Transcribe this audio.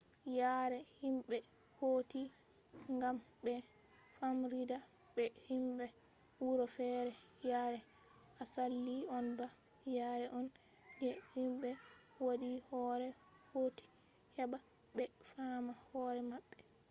yare himɓe hauti gam ɓe famrida be himɓe wuro fere yare asali on ba yare on je himɓe waddi hore hauti heɓa ɓe faama hore maɓɓe